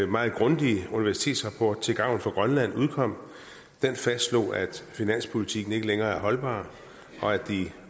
meget grundige universitetsrapport til gavn for grønland udkom den fastslog at finanspolitikken ikke længere er holdbar og at de